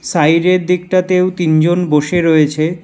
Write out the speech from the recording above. সাইডের দিকটাতেও তিনজন বসে রয়েছে।